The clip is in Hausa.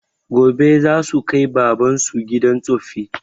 Gobe zasu kai baban su gidan tsoffi